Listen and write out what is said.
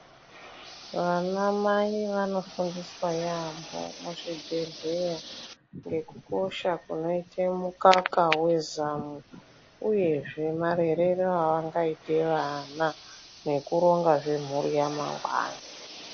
Vanamai vanofundiswa yaampho muzvibhedhleya ngekukosha kunoite mukaka wezamu, uyezve marerere avangaite vana, nekurongazve mhuri yamangwani.